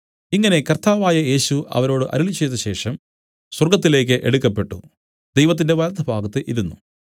ഇങ്ങനെ കർത്താവായ യേശു അവരോട് അരുളിച്ചെയ്തശേഷം സ്വർഗ്ഗത്തിലേക്ക് എടുക്കപ്പെട്ടു ദൈവത്തിന്റെ വലത്തുഭാഗത്ത് ഇരുന്നു